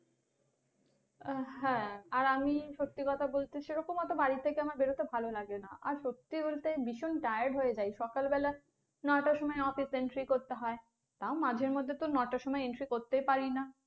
আহ হ্যা। আর আমি সত্যি কথা বলতে সেরকম অত বাড়ি থেকে আমার বের হতে ভালো লাগে না আর সত্যি বলতে ভীষণ tired হয়ে যাই। সকাল বেলা নয়টার সময় office entry করতে হয়, তাও মাঝে মধ্যে তো নয়টার সময় entry করতেই পারি না